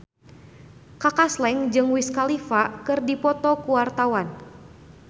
Kaka Slank jeung Wiz Khalifa keur dipoto ku wartawan